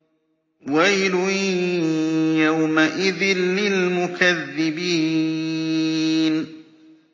وَيْلٌ يَوْمَئِذٍ لِّلْمُكَذِّبِينَ